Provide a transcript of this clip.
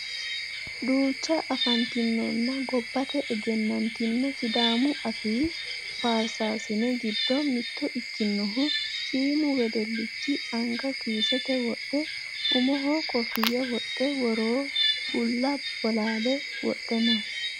Duucha afantinonna gobbate egenantino sidaamu afii faarsaasine giddo mitto ikkinohu shiimu wedellichi anga kiisete wodhe umoho kofiya wodhe woroo bulla bolaale wodhe no.